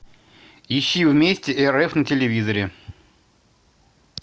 ищи вместе рф на телевизоре